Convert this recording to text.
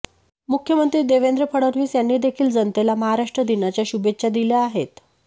मुख्यमंत्री देवेंद्र फडणवीस यांनी देखील जनतेला महाराष्ट्र दिनाच्या शुभेच्छा दिल्या आहेत